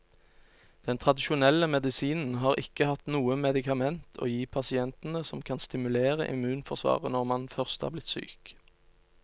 Den tradisjonelle medisinen har ikke hatt noe medikament å gi pasientene som kan stimulere immunforsvaret når man først er blitt syk.